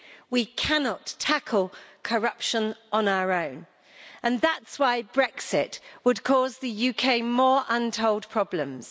We cannot tackle corruption on our own and that's why Brexit would cause the UK more untold problems.